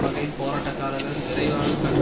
வகையில் போராட்டக்காரர்கள் விரைவாக கற்று